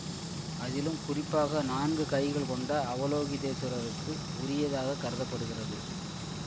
அதிலும் குறிப்பாக நான்கு கைகள் கொண்ட அவலோகிதேஷ்வரருக்கு உரியதாக கருத படுகிறது